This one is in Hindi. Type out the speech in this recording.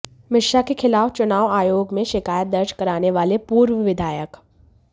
मिश्रा के खिलाफ चुनाव आयोग में शिकायत दर्ज कराने वाले पूर्व विधायक